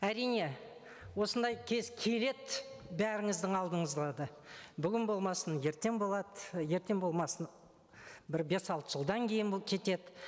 әрине осындай кез келеді бәріңіздің алдыңызға да бүгін болмасын ертең болады ертең болмасын бір бес алты жылдан кейін кетеді